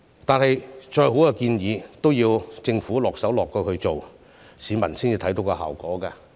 但是，再好的建議都要政府落實施行，市民才能看見效果。